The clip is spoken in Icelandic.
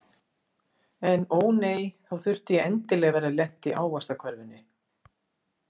En ó nei, þá þurfti ég endilega að vera lent í ávaxtakörfunni.